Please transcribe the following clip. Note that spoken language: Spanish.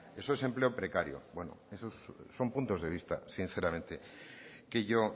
eso es empleo precario bueno eso son puntos de vista sinceramente que yo